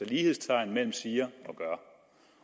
lighedstegn mellem siger og gør